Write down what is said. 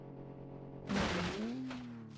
Nói